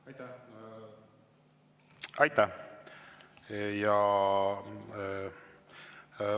Aitäh!